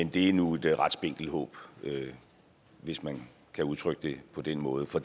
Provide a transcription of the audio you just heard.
det er nu et ret spinkelt håb hvis man kan udtrykke det på den måde for